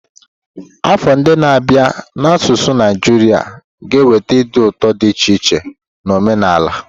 Afọ ndị na-abịa n'asụsụ Naijiria ga-eweta ịdị n'otu dị iche iche na omenala.